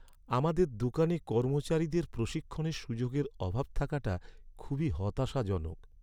আমাদের দোকানে কর্মচারীদের প্রশিক্ষণের সুযোগের অভাব থাকাটা খুবই হতাশাজনক।